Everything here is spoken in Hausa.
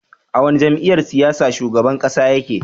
A wani jam'iyyar siyasa shugaban ƙasa ya ke?